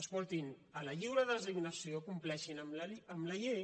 escoltin en la lliure designació compleixin amb la llei